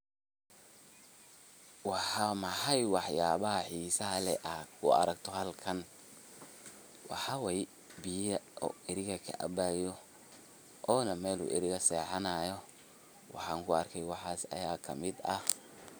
Waa maxay waxyaabaha xiisaha leh ee aad ku aragto halkaan, waxaa waye biya o eriga kaabayo, onaa Mel Eriga o sexaanayo, waxaan kuarke waxaas aya kamiid ah.